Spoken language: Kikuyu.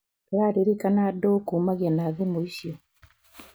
Turaririkana ndũ kumagia na thimũ icio?